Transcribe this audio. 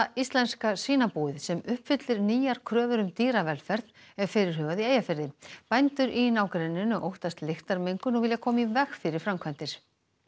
íslenska svínabúið sem uppfyllir nýjar kröfur um dýravelferð er fyrirhugað í Eyjafirði bændur í nágrenninu óttast lyktarmengun og vilja koma í veg fyrir framkvæmdir